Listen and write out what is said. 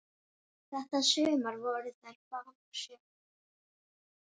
Þetta sumar voru þær báðar sjö ára.